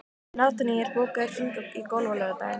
Nataníel, bókaðu hring í golf á laugardaginn.